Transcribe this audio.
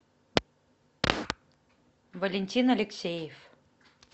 валентин алексеев